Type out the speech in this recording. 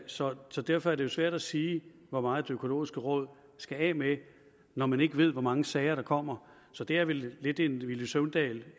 så så derfor er det jo svært at sige hvor meget det økologiske råd skal af med når man ikke ved hvor mange sager der kommer så det er vel lidt en villy søvndal